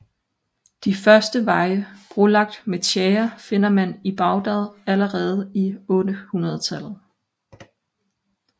De første veje brolagt med tjære finder man i Baghdad allerede i 800 tallet